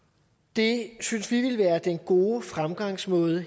det synes vi ville være den gode fremgangsmåde